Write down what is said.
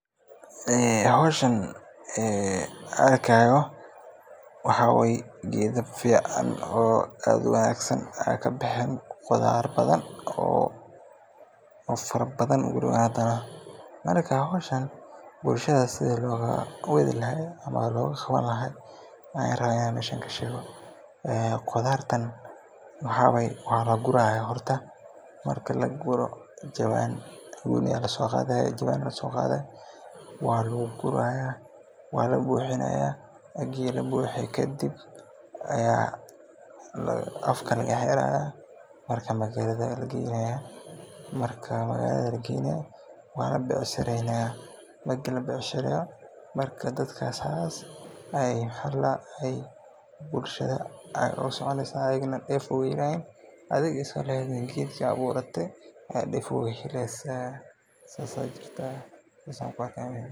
Howshan arkaayo waxaa waye geeda fican oo aad uwanagsan, waxaa kabaxe geeda wanagsan, bulshada sidi loogu qaban lahaaya, qudaartan waa laguraya jawaan ayaa labuxinaya, magalada ayaa lageynaya, waa la becshirenaya, marka saas ayaa bulshada deef oogu helayaan adhigana saas deef oogu oogu heleysa.